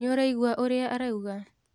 Nĩũraigua ũrĩa arauga?